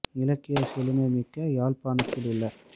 இலக்கியச் செழுமை மிக்க யாழ்ப்பாணத்திலுள்ள